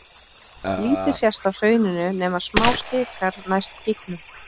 Lítið sést af hrauninu nema smáskikar næst gígunum.